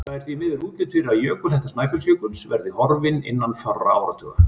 Það er því miður útlit fyrir að jökulhetta Snæfellsjökuls verði horfin innan fárra áratuga.